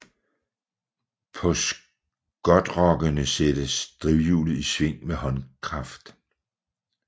På skotrokkene sættes drivhjulet i sving med håndkraft